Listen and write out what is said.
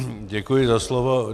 Děkuji za slovo.